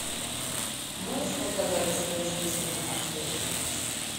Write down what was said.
можешь показать чудо женщина аш д